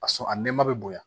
A sɔn a nɛma bɛ bonya